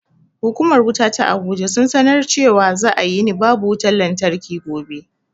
Hukumar wuta ta abuja sun sanar cewa za a yini babu wutan lantarki gobe